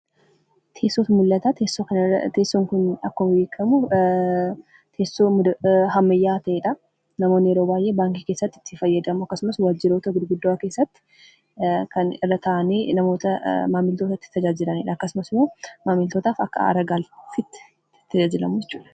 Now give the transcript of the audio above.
Teessootu mul'ata. Teessoon kun akkuma beekamu teessoo ammayyaa'aa ta'eedha. Namoonni yeroo baay'ee baankii keessatti itti fayyadamu. Akkasumas waajjiroota gurguddoo keessatti kan irra taa'anii maamiltoota itti tajaajilaniidha akkasumas immoo, maamiltootaaf akka aara-galfiitti tajaajilamu jechuudha.